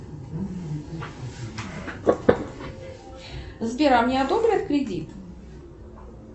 сбер а мне одобрят кредит